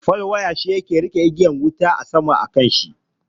Fal waya shi ke riƙe igiyar wutar lantarki a saman shi.